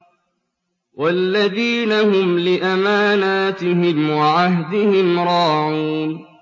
وَالَّذِينَ هُمْ لِأَمَانَاتِهِمْ وَعَهْدِهِمْ رَاعُونَ